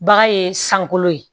Bagan ye sankolo ye